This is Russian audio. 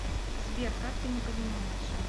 сбер как ты не понимаешь